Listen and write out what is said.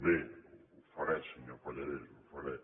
bé ho faré senyor pallarès ho faré